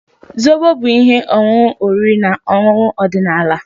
Zobo bụ ihe ọṅụṅụ oriri na ọṅụṅụ ọdịnala.